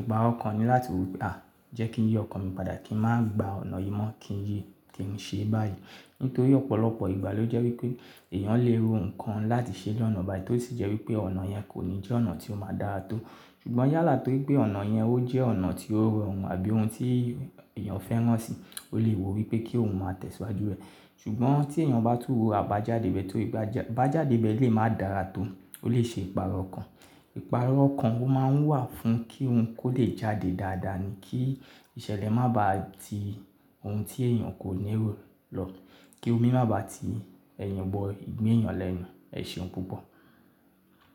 Ìpààrọ̀ ọkàn ni láti wí pé à, jẹ́ kí n yí ọkàn mi padà kí n máa gba ọ̀nà yìí mọ́ kí n ṣe báyìí. Nítorí ọ̀pọ̀lọpọ̀ ìgbà ló jẹ́ wí pé èèyàn lè ro nǹkan láti ṣe lọ́nà báyi tó sì jẹ́ wí pé ọ̀nà yẹn kò ní jẹ́ ọ̀nà tí ó máa dára tó. Ṣùgbọ́n yálà torí pé ọ̀nà yẹn ó jẹ́ ọ̀nà tí ó rọrùn àbí ohun tí èèyàn fẹ́ràn si, ó lè wí pé kí òun máa tẹ̀síwájú rẹ̀. Ṣùgbọ́n tí èèyàn bá tún rò àbájáde ibẹ̀ tó, àbájáde ibẹ̀ lè máa dára tó, ó lè ṣe ìpààrọ̀ ọkàn. Ìpààrọ̀ ọkàn ó máa ń wà fún kí ohun kó lè jáde dáadáa ni kí ìṣẹ̀lẹ̀ má ba à ti ohun tí èèyàn kò ní ro lọ, kí omi má ba à ti ẹ̀yàn bọ ìgbin èèyàn lẹ́nu. Ẹ̀ ṣeun púpọ̀.